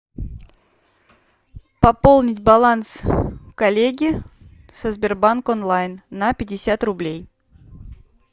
пополнить баланс коллеги со сбербанк онлайн на пятьдесят рублей